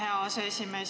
Aitäh, hea aseesimees!